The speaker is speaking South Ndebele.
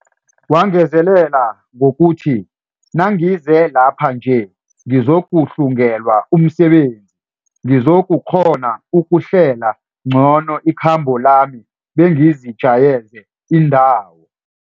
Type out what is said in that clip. Wangezelela ngokuthi, Nangize lapha nje ngizokuhlungelwa umsebenzi, ngizokukghona ukuhlela ngcono ikhambo lami bengizijayeze indawo.